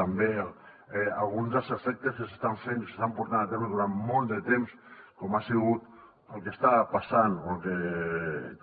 també alguns dels efectes que s’estan fent i s’estan portant a terme durant molt de temps com ha sigut el que està passant o el que